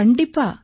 கண்டிப்பா